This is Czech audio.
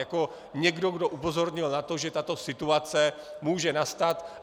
Jako někdo, kdo upozornil na to, že tato situace může nastat.